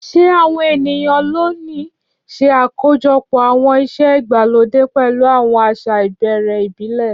Ṣé àwọn ènìyàn lónìí ṣe àkójọpọ̀ àwọn ìṣe ìgbàlódé pẹ̀lú àwọn àṣà ìbẹ̀rẹ̀ ìbílẹ̀?